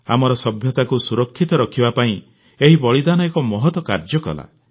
ଆମର ସଭ୍ୟତାକୁ ସୁରକ୍ଷିତ ରଖିବା ପାଇଁ ଏହି ବଳିଦାନ ଏକ ମହତ୍ କାର୍ଯ୍ୟ କଲା